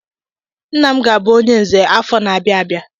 Nna m ga-abụ onye Nze afọ na-abịa abịa.